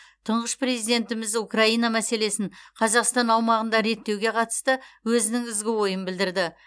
тұңғыш президентіміз украина мәселесін қазақстан аумағында реттеуге қатысты өзінің ізгі ойын білдірді